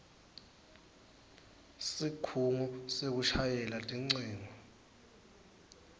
sikhungo sekushayela tincingo